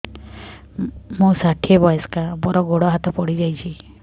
ମୁଁ ଷାଠିଏ ବୟସ୍କା ମୋର ଗୋଡ ହାତ ପଡିଯାଇଛି